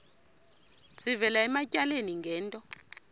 sivela ematyaleni ngento